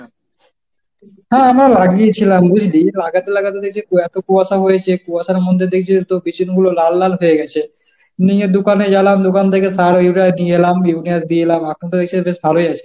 হ্যাঁ আমরা লাগিয়েছিলাম বুঝলি, লাগাতে লাগাতে দেখছি এত কুয়াশা হয়েছে। কুয়াশার মধ্যে দেখছিস তো পিছন গুলো লাল লাল হয়ে গেছে নিজের দোকানে গেলাম দোকান থেকে নিয়ে সার ইউরিয়া নিয়ে এলাম, ইউরিয়া দিয়ে এলাম এখন তো এসে বেশ ভালোই আছে।